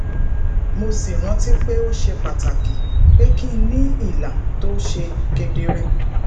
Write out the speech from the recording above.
mo sì rántí pé ó ṣe pàtàkì pé kí n ní ìlà tó ṣe kedere